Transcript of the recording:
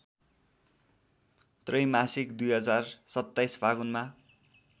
त्रैमासिक २०२७ फागुनमा